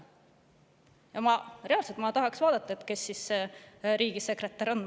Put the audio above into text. Ma tahan vaadata, kes reaalselt riigisekretär on.